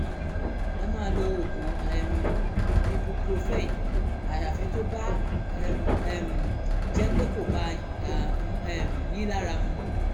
ẹ máa lo oògùn um ibuprofen àyàfi tó bá um jẹ́ pé kò bá a um yín lára mu